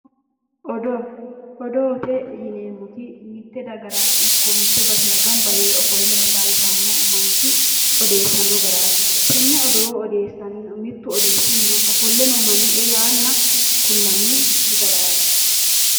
Odoo. Odoote yineemmoti mitte dagara ikko mitte basera gamba yee ofolle hasaawisanno manchi odeessanno garaati. Tenne odoo mittu odeessanna ofolle noo manni e yaanna kullanni far as.